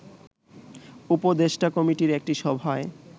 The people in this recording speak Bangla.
উপদেষ্টা কমিটির একটি সভায়